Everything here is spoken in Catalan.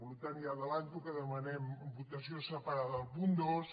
per tant ja avanço que demanem votació separada del punt dos